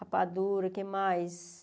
Rapadura, o que mais...